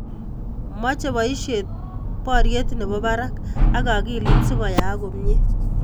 Mochei boisie borie ne bo barak ak akilit si koyaak komie.